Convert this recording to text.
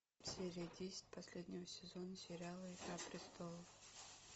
серия десять последнего сезона сериала игра престолов